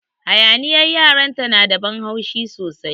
Hayaniyar yaran ta na da ban haushi sosai.